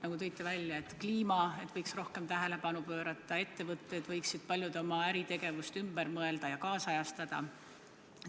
Te tõite välja, et näiteks kliimale võiks rohkem tähelepanu pöörata, paljud ettevõtted võiksid oma äritegevuse ümber mõtestada ja seda kaasajastada.